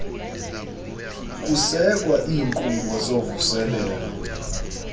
kusekwa iinkqubo zovuselelo